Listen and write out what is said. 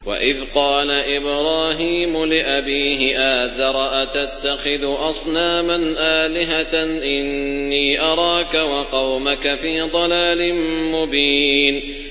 ۞ وَإِذْ قَالَ إِبْرَاهِيمُ لِأَبِيهِ آزَرَ أَتَتَّخِذُ أَصْنَامًا آلِهَةً ۖ إِنِّي أَرَاكَ وَقَوْمَكَ فِي ضَلَالٍ مُّبِينٍ